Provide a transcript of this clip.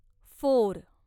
four